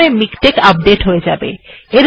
এভাবে মিকটেক্ আপডেট্ হয়ে যাবে